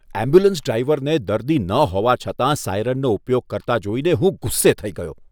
Ambulance ડ્રાઈવરને દર્દી ન હોવા છતાં સાયરનનો ઉપયોગ કરતા જોઈને હું ગુસ્સે થઈ ગયો.